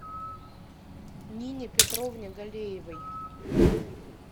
нине петровне галеевой